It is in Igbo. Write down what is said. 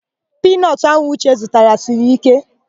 Piinọtụ ahụ Uche zụtara siri íké.